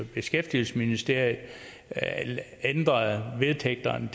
beskæftigelsesministeriet ændrede vedtægterne